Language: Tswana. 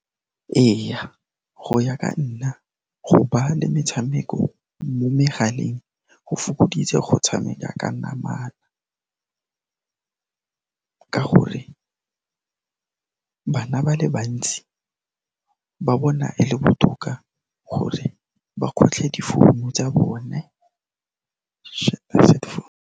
Eya, go ya ka nna, go ba le metshameko mo megaleng go fokoditse go tshameka ka namana ka gore bana ba le bantsi ba bona e le botoka gore ba kgotlhe difounu tsa bone .